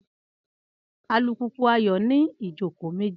Alùpùpù Ayọ̀ ní ìjókòó méjì